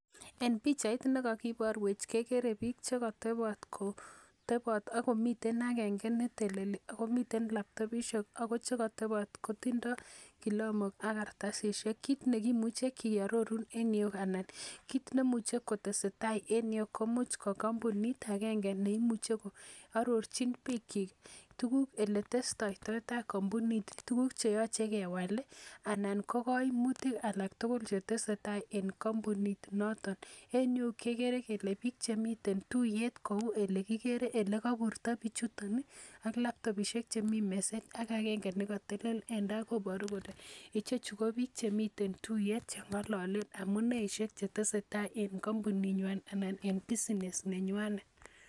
En pichait nekakiporwech kekere pik chekatebot kotebot akomiten agenge neteleli. Akomiten laptopishek ako chekatebot kotindoi kilamok ak kartasisiek. Kit nekimuche kearoru engyu anan kit nemuchei kotesetai eng yu ko much ko kampunit agenge neimuchei koarorchin pikchi tukuk oletestoittai kampunit. Tukuk cheyachei kewal, anan ko kaimutik alak tugul chetesetai en kampuni noton. Enyu kekere kele pik chemiten tuiyet kou elekikere elekaiburto pichuton ak laptopishek chemi meset, ak agenge ne katelel en tai koboru kole ichechu ko pik chemitei tuiyet cheng'ololen amuneishek chetesetai eng kampuning'wai ana en business nenywang'et.